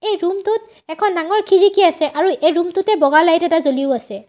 এই ৰুম টোত এখন ডাঙৰ খিৰিকী আছে আৰু এই ৰুম টোতেই বগা লাইট এটা জ্বলিও আছে।